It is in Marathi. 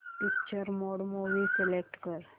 पिक्चर मोड मूवी सिलेक्ट कर